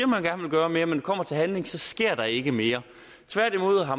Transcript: man gerne vil gøre mere men kommer til handling sker der ikke mere